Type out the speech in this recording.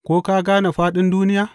Ko ka gane fāɗin duniya?